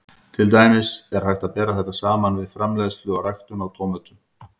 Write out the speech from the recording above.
Til dæmis er hægt að bera þetta saman við framleiðslu og ræktun á tómötum.